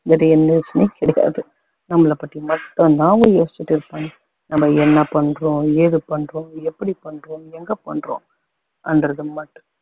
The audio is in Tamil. வேற எந்த யோசனையும் கிடையாது நம்மள பத்தி மட்டும் தான் அவங்க யோசுச்சிட்டு இருப்பாங்க நம்ம என்ன பண்றோம் ஏது பண்றோம் எப்படி பண்றோம் எங்க பண்றோங்கறது மட்~